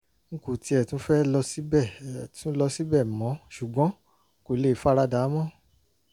n kò tiẹ̀ fẹ́ tún lọ síbẹ̀ tún lọ síbẹ̀ mọ́ ṣùgbọ́n n kò lè fara dà á mọ́